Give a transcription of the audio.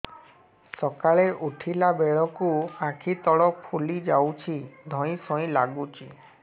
ସକାଳେ ଉଠିଲା ବେଳକୁ ଆଖି ତଳ ଫୁଲି ଯାଉଛି ଧଇଁ ସଇଁ ଲାଗୁଚି